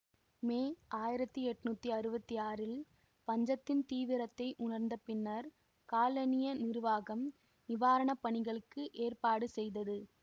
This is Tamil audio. மே ஆயிரத்தி எண்ணூற்றி அறுபத்தி ஆறில் பஞ்சத்தின் தீவிரத்தை உணர்ந்த பின்னர் காலனிய நிருவாகம் நிவாரண பணிகளுக்கு ஏற்பாடு செய்தது